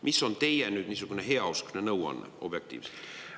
Mis on teie niisugune heauskne nõuanne, objektiivselt?